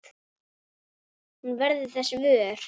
Hún verður þess vör.